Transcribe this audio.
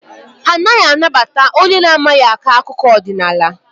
Ha anaghị anabata onye na-amaghị akọ akụkọ ọdịnaala.